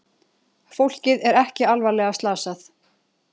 Fólkið er ekki alvarlega slasað